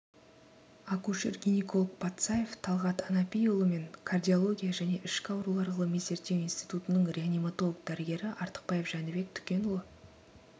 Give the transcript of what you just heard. акушер-гинекологпатсаев талғат анапиұлы мен кардиология және ішкі аурулар ғылыми-зерттеу институтының реаниматолог дәрігері артықбаев жәнібек түкенұлы